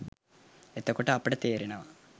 එතකොට අපට තේරෙනවා